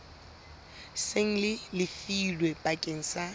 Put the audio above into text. seng le lefilwe bakeng sa